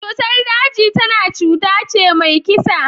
Cutar daji tana cutace mai kisa.